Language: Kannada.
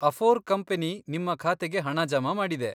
ಅಫೋರ್ ಕಂಪನಿ ನಿಮ್ಮ ಖಾತೆಗೆ ಹಣ ಜಮಾ ಮಾಡಿದೆ.